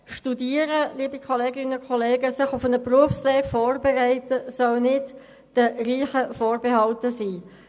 Studieren oder die Vorbereitung auf eine Berufslehre soll nicht den Reichen vorbehalten sein.